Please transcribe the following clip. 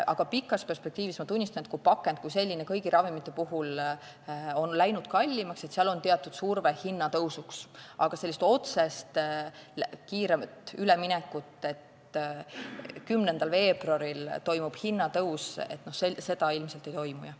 Aga pikas perspektiivis, ma tunnistan, kui pakend kui selline on kõigi ravimite puhul läinud kallimaks, siis seal on teatud surve hinnatõusuks, kuid sellist otsest kiiret üleminekut, et 10. veebruaril toimub hinnatõus, ilmselt ei toimu.